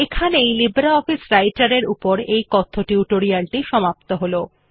এখানেই লিব্রিঅফিস রাইটের এর এই কথ্য টিউটোরিয়াল টি সমাপ্ত হল